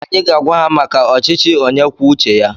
Anyị ga-agwa maka ọchịchị onye kwuo uche ya.